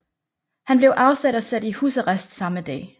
Han blev afsat og sat i husarrest samme dag